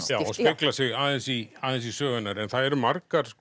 já og speglar sig aðeins í aðeins í sögu hennar en það eru margar